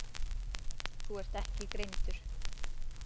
Þú ert ekki greindur.